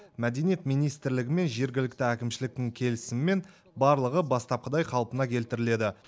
мәдениет министрлігі мен жергілікті әкімшіліктің келісімімен барлығы бастапқыдай қалпына келтіріледі